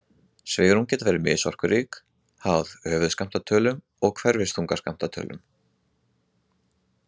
Svigrúm geta verið misorkurík, háð höfuðskammtatölum og hverfiþungaskammtatölum.